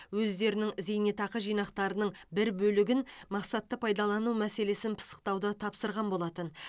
өздерінің зейнетақы жинақтарының бір бөлігін мақсатты пайдалану мәселесін пысықтауды тапсырған болатын